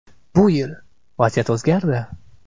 Bu yil vaziyat o‘zgardi.